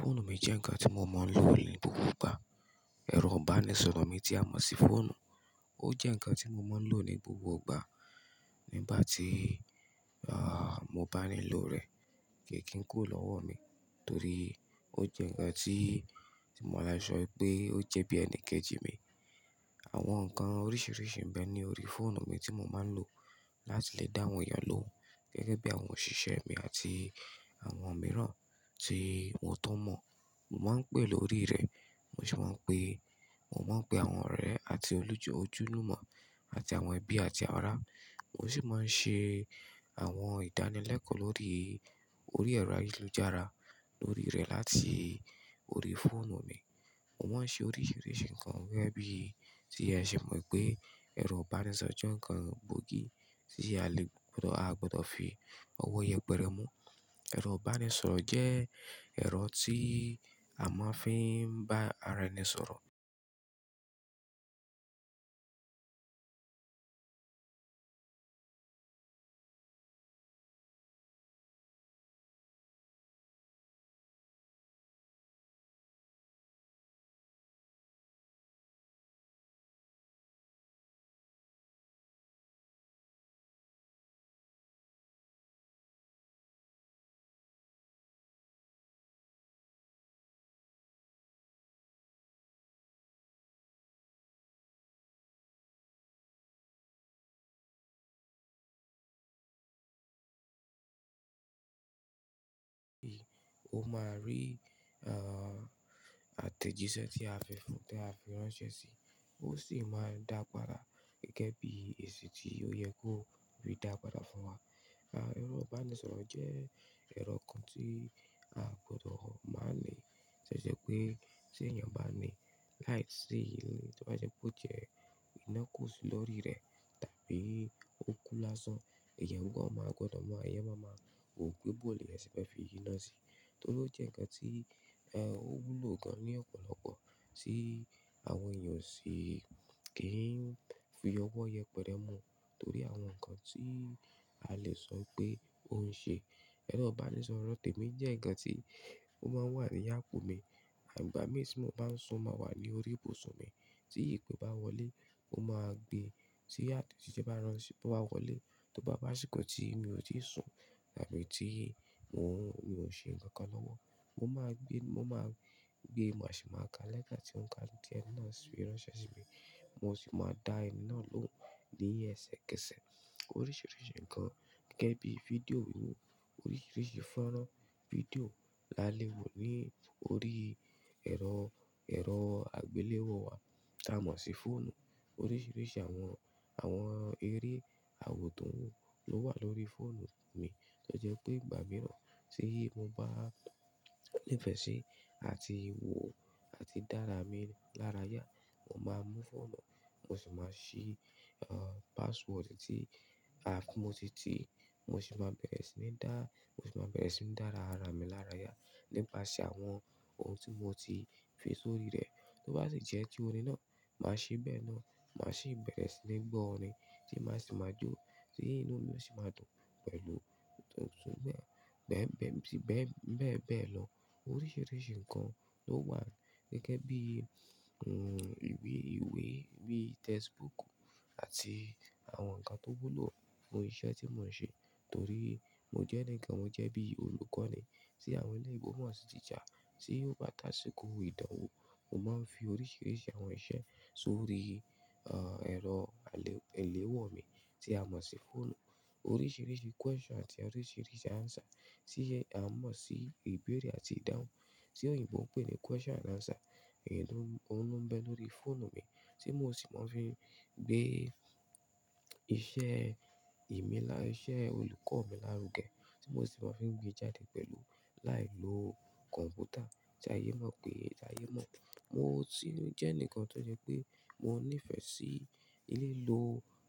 Fóònù mi jẹ́ ǹkan tí mo máa ń lò ní gbogbo ìgbà. Ẹ̀rọ ìbánisọ̀rọ̀ mi tí a mọ̀ sí fóònù, ó jẹ́ ǹkan tí mo máa ń lò ní gbogbo ìgbà. Nígbà tí, ah, mo bá nílò rẹ̀ kí n kó lọ́wọ́ mi torí ó jẹ́ ǹkan tí, tí mo le sọ pé ó jẹ́ bí ẹni kejì mi. Àwọn ǹkan oríṣiríṣi ń bẹ ní orí fóònù mi tí mo máa ń lò láti lè dá àwọn èèyàn ló gẹ́gẹ́ bí àwọn òṣìṣẹ́ mi àti àwọn mìíràn tí mo tọ́ mọ̀. Mo máa ń pè lórí rẹ̀, mo sì máa ń pe, mo máa ń pe àwọn ọ̀rẹ́ àti olùjọ́ ojúnú mọ̀ àti àwọn ẹbí àti ara. Mo sì máa ń ṣe àwọn ìdánilẹ́kọ̀ọ́ lórí orí ẹ̀rọ ayélujára lórí rẹ̀ láti orí fóònù mi. Mo máa ń ṣe oríṣiríṣi ǹkan gẹ́gẹ́ bí tí ẹ ṣe mọ̀ pé ẹ̀rọ ìbánisọ̀rọ̀ jẹ́ ǹkan gbòógì tí a lè gbọ́dọ̀, a gbọ́dọ̀ fi ọwọ́ yẹpẹrẹ mu. Ẹ̀rọ ìbánisọ̀rọ̀ jẹ́ ẹ̀rọ tí a máa fi ń bá ara ẹni sọ̀rọ̀. O máa rí, ah, àtẹ̀jíṣẹ́ tí a fi fún, tí a fi ránṣẹ́ sí i, ó sì máa ń dàgbàrà gẹ́gẹ́ bí èsì tí ó yẹ kó rí dàgbàrà fún wa. Ah, ẹ̀rọ ìbánisọ̀rọ̀ jẹ́ ẹ̀rọ kan tí a gbọ́dọ̀ máa ń ní ṣẹ́ṣẹ́ pé tí èèyàn bá ní láìsí ìlò, tí wọ́n ba jẹ́ pé ó jẹ iná kò sí lórí rẹ̀ tàbí ó kú lásán, ìyẹ́mú ọwọ́ máa gbọ́dọ̀ mọ̀, ẹ̀yẹ́mú ọwọ́ máa mọ̀, ò gbé bóòlù lẹ́sẹ̀ bá fi inú sí i. Torí ó jẹ́ ǹkan tí, ẹ, ó wúlò gan-an ní ọ̀pọ̀lọpọ̀ tí àwọn èèyàn o sì kì í fi ọwọ́ yẹpẹrẹ mu torí àwọn ǹkan tí a lè sọ pé ó ń ṣe. Ẹ̀rọ ìbánisọ̀rọ̀ tèmi jẹ́ ǹkan tí ó máa ń wà ní apo mi. Àìgbà mí tí mo bá ń sun máa wà ní orí ibùsùn mi. Tí ìpè bá wọlé mo máa gbé, tí àtẹ̀jíṣẹ́ bá ránṣẹ́, bá wọlé tó bá bá sí nǹkan tí mi ò tíì sun tàbí tí mo, mo ṣe nǹkan kan lọ́wọ́, mo máa gbé, mo máa gbé, mo sì máa ka lẹ́ẹ̀ka ti wọ́n ka ní díẹ́ náà sí i ránṣẹ́ sí mi. Mo sì máa da eni nà lọun ní ẹsẹ kẹsẹ̀ oríṣiríṣi ǹkan gẹ́gẹ́ bí fídíò inú oríṣiríṣi fọ́nrán fídíò la le wò ní orí ẹ̀rọ, ẹ̀rọ agbéléwò wa tí a mọ̀ sí fóònù. Oríṣiríṣi àwọn, àwọn eré àwòtún ló wà lórí fóònù mi tó jẹ́ pé ìgbà mìíràn tí mo bá ní ìfẹ́ sí àti wò àti dára mi lára yá, mo máa mú fóònù, mo sì máa ṣí, ah, password tí a, mo ti, tí mo sì máa bẹ̀rẹ̀ sí ní dá, mo sì máa bẹ̀rẹ̀ sí ní dára ara mi lára yá nípasẹ̀ àwọn ohun tí mo ti fi sórí rẹ̀. Tó bá ti jẹ́ ti òrin náà, màá ṣí bẹ́ẹ̀ náà, màá ṣí ìbẹ̀rẹ̀ sí ní gbọ́ orin tí màá sì máa jó, tí inú mi ò sì máa dùn pẹ̀lú tuntun bẹ́ẹ̀, bẹ́ẹ̀, bẹ́ẹ̀, bẹ́ẹ̀ bẹ́ẹ̀ lọ. Oríṣiríṣi ǹkan ló wà gẹ́gẹ́ bí, n, ìwé ìwé bí textbook àti àwọn ǹkan tó wúlò fún iṣẹ́ tí mò ń ṣe torí mo jẹ́ ẹni kan, mo jẹ́ bí olùkọ́ ni. Tí àwọn eleyinbo sì teacher tí ó bá tàsí kó ìdánwò, mo máa ń fi oríṣiríṣi àwọn iṣẹ́ sórí, ah, ẹ̀rọ alè, eléwọ̀ mi tí a mọ̀ sí fóònù. Oríṣiríṣi question àti oríṣiríṣi answer tí ẹ, a mọ̀ sí ìbéèrè àti ìdáhùn tí òyìnbó ń pè ní question and answer, èyí ló, ló ń bẹ lórí fóònù mi tí mo sì máa ń fi gbé iṣẹ́ mi lá, iṣẹ́ olùkọ́ mi lárugẹ tí mo sì máa ń fi gbé jáde pẹ̀lú láì lo kọ̀m̀pútà tí ayé náà pé, ayé náà. Mo sì jẹ́ enikan tó jẹ́ pé mo ní ìfẹ́ sí lílo